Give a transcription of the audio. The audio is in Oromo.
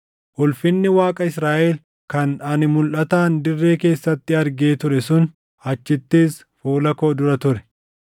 Ulfinni Waaqa Israaʼel kan ani mulʼataan dirree keessatti argee ture sun achittis fuula koo dura ture.